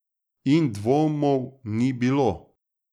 In dvomov ni bilo!